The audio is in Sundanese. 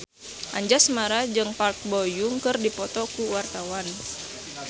Anjasmara jeung Park Bo Yung keur dipoto ku wartawan